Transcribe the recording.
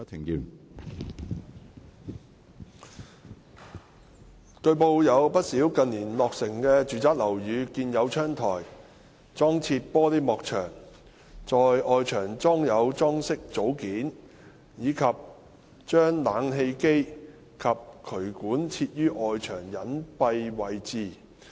據報，有不少近年落成的住宅樓宇建有窗台、裝設玻璃幕牆、在外牆裝有裝飾組件，以及把冷氣機及渠管設於外牆隱蔽位置。